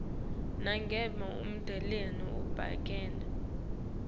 nangabe ummeleli ubukene